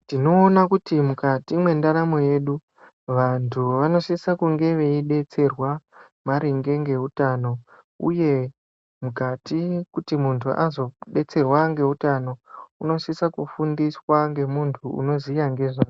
Tinoona kuti mukati mwendaramo yedu vantu vanosisa kunge veidetserwa maringe ngeutano uye mukati kuti muntu azodetserwa ngeutano unosisa kufundiswa ngemuntu unoziya ngezvazvo.